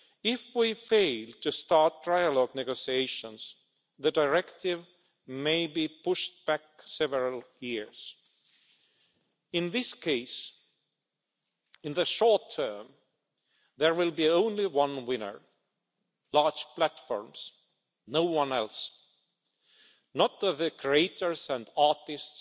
If we fail to start trilogue negotiations, the directive may be pushed back several years. In this case, in the short term, there will be only one winner large platforms no one else, not the creators and artists,